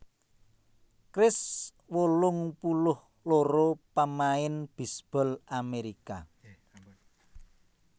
Kris wolung puluh loro pamain bisbol Amerika